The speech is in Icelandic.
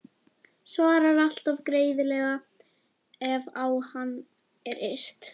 Svarar alltaf greiðlega ef á hana er yrt.